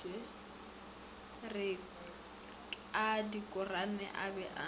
a dikhorane a be a